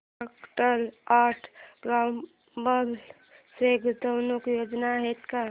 Procter and Gamble च्या गुंतवणूक योजना आहेत का